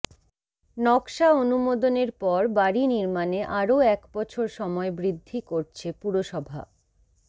নকশা অনুমোদনের পর বাড়ি নির্মাণে আরও একবছর সময় বৃদ্ধি করছে পুরসভা